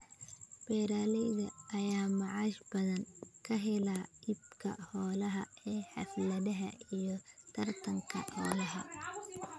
Beeralayda ayaa macaash badan ka hela iibka xoolaha ee xafladaha iyo tartanka xoolaha.